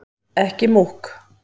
Ekki múkk